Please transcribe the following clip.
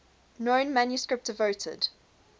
known manuscript devoted